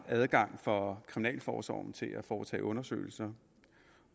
adgang for kriminalforsorgen til at foretage undersøgelser